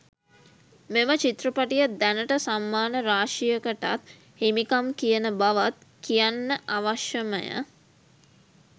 මෙම චිත්‍රපටිය දැනට සම්මාන රාශියකටත් හිමිකම් කියන බවත් කියන්න අවශ්‍යමය.